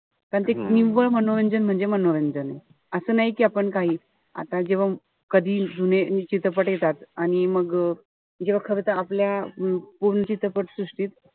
कारण ते निव्वळ मनोरंजन म्हणजे मनोरंजन. असं नाई कि आपण काही. आता जेव्हा कधी चित्रपट येतात. आणि मग जेव्हा खरं तर आपल्या पूर्ण चित्रपट सृष्टीत,